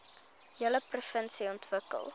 hele provinsie ontwikkel